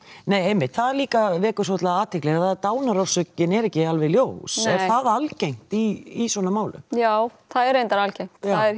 nei einmitt það líka vekur svolitla athygli dánarorskökin er ekki alveg ljós er það algengt í svona málum já það er reyndar algengt